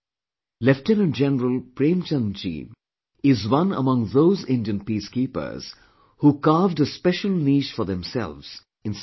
Lieutenant General Prem Chand ji is one among those Indian Peacekeepers who carved a special niche for themselves in Cyprus